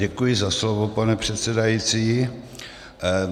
Děkuji za slovo, pane předsedající.